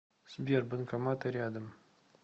сбер банкоматы рядом